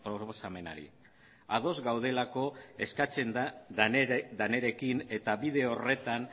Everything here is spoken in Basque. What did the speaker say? proposamenari ados gaudelako eskatzen denarekin eta bide horretan